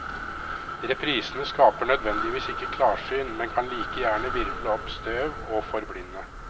Reprisene skaper nødvendigvis ikke klarsyn, men kan like gjerne hvirvle opp støv og forblinde.